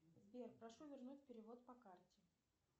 сбер прошу вернуть перевод по карте